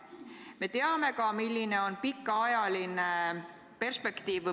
Me teame ka, milline on pikaajaline perspektiiv.